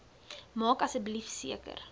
maak asseblief seker